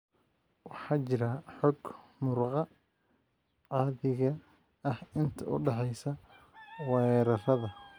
Waxaa jira xoog muruqa caadiga ah inta u dhaxaysa weerarrada.